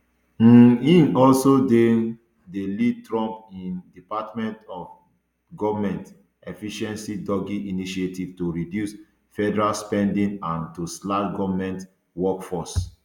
um im also dey um lead trump im department of goment efficiency doge initiative to reduce federal spending and to slash goment workforce